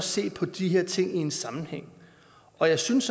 se på de her ting i en sammenhæng og jeg synes